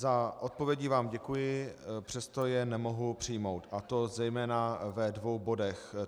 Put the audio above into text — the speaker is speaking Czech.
Za odpovědi vám děkuji, přesto je nemohu přijmout, a to zejména ve dvou bodech.